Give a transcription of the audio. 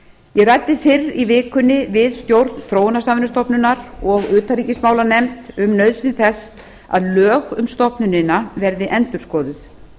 ég ræddi fyrr í vikunni við stjórn þróunarsamvinnustofnunar og utanríkismálanefnd um nauðsyn þess að lög um stofnunina verði endurskoðuð